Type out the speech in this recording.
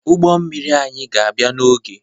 Ụgbọ mmiri anyị ga-abịa n'oge